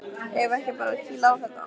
Eigum við ekki bara að kýla á þetta?